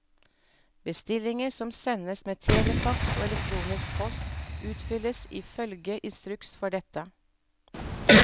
Bestillinger som sendes med telefaks og elektronisk post, utfylles i følge instruks for dette.